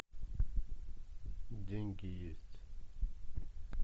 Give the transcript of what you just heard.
деньги есть